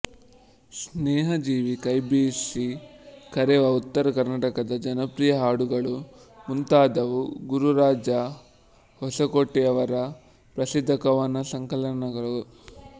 ಸ್ನೇಹಜೀವಿ ಕೈಬೀಸಿ ಕರೆವಾ ಉತ್ತರ ಕರ್ನಾಟಕದ ಜನಪ್ರಿಯ ಹಾಡುಗಳು ಮುಂತಾದವು ಗುರುರಾಜ ಹೊಸಕೋಟೆಯವರ ಪ್ರಸಿದ್ಧ ಕವನ ಸಂಕಲನಗಳು